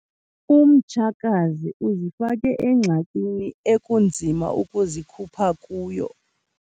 Umtshakazi uzifake engxakini ekunzima ukuzikhupha kuyo.